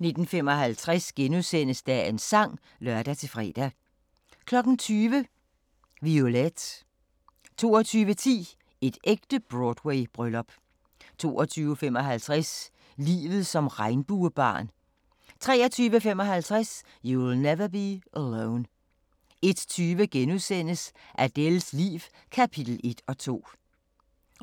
19:55: Dagens Sang *(lør-fre) 20:00: Violette 22:10: Et ægte Broadway-bryllup 22:55: Livet som regnbuebarn 23:55: You'll never be alone 01:20: Adèles liv – kapitel 1 og 2